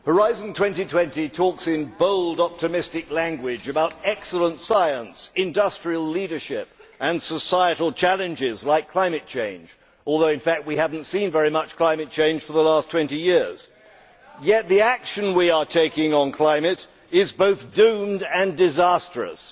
Madam President, Horizon 2020 talks in bold optimistic language about excellent science, industrial leadership and societal challenges like climate change although in fact we have not seen very much climate change for the last 20 years. Yet the action we are taking on climate is both doomed and disastrous.